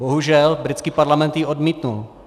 Bohužel britský parlament ji odmítl.